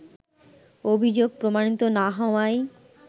অভিযোগ প্রমাণিত না হওয়ায়